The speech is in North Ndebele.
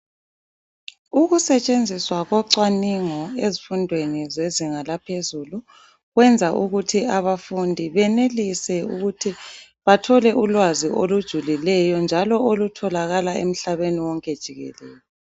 Ukusetshenziswa kocwaningo ezifundweni zezinga laphezulu, kwenza ukuthi abafundi benelise ukuthi bathole ulwazi olujulileyo njalo olutholakala emhlabeni wonke jikelele.